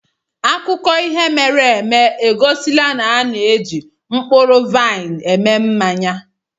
akụkọ ihe mere eme egosila na a na-eji mkpụrụ mkpụrụ vaịn eme mmanya.